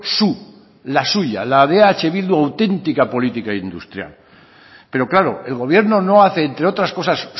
su la suya la de eh bildu auténtica política industrial pero claro el gobierno no hace entre otras cosas